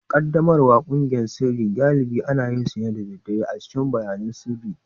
Ƙaddamarwar ƙungiyoyin sirri galibi ana yin su ne da daddare a cikin bayanan sirri